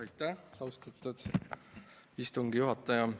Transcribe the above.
Aitäh, austatud istungi juhataja!